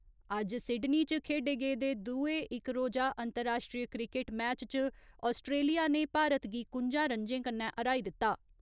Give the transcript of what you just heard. अज्ज सिडनी च खेढे गेदे दूए इक रोजा अंतराश्ट्रीय क्रिकेट मैच च आस्ट्रेलिया ने भारत गी कुंजा रन्जे कन्नै र्‌हाई दित्ता।